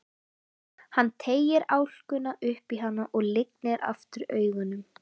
Hann teygir álkuna upp í hana og lygnir aftur augunum.